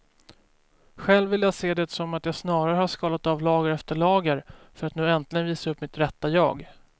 Själv vill jag se det som att jag snarare har skalat av lager efter lager för att nu äntligen visa upp mitt rätta jag.